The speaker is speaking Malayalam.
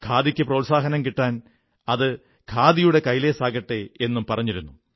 ഖാദിക്കു പ്രോത്സാഹനം കിട്ടാൻ അത് ഖാദിയുടെ കൈലേസാകട്ടെ എന്നും പറഞ്ഞിരുന്നു